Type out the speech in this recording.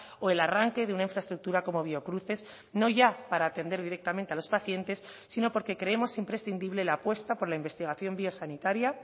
o el arranque de una infraestructura como biocruces no ya para atender directamente a los pacientes sino porque creemos imprescindible la apuesta por la investigación biosanitaria